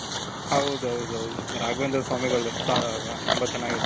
ಹೌದೌದು ರಾಘವೇಂದ್ರ ಸ್ವಾಮಿಗಳು ಅಲ್ವ ತುಂಬ ಚೆನಾಗಿರುತ್ತೆ.